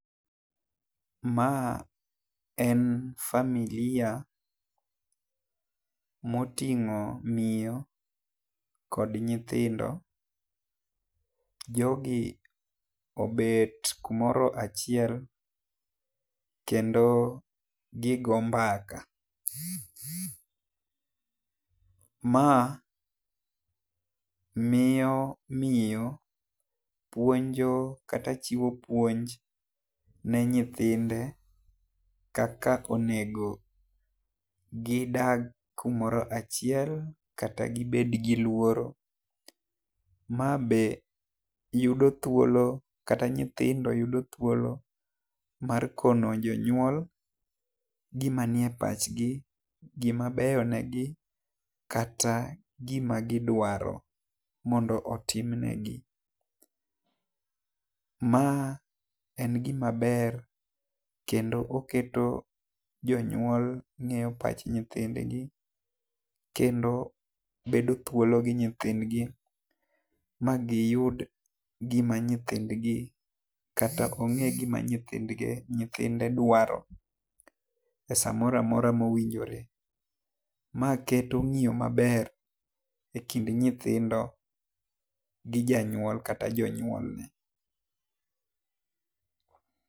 Ma en familia mo tingo miyo kod nyithindo jogi obet kumoro achiel kendo gi go mbaka. Ma miyo, miyo puonjo kata chiwo puonj ne nyithinde kaka onego gi dag kumoro achiel kata gi bed gi luoro. Ma be yudo thuolo kata nyithindo yudo thuolo mar kono jonyuol gi ma ni e pach gi, ma beyo ne gi kata gi ma gi dwaro, mondo otim ne gi. Ma en gi ma beyo kendo oketo jonyuol ng'eyo pach nyithind gi kendo bedo thuolo gi nyithind gi ma gi yud gi ma nyithind gi kata ong'e gi ma nyithind gi nyithinde dwaro e saa moro amora ma owinjore. Ma keto ng'iyo ma ber e kind nyithindo gi janyuol kata jonyuol.